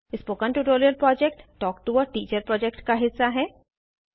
spoken tutorial project talk to a teacher project का हिस्सा है